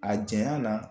A janya na